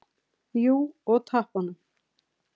Jú, og tappanum.